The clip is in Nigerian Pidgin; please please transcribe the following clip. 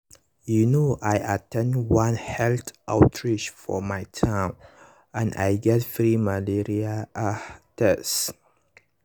you know i at ten d one health outreach for my town and i get free malaria ah tests.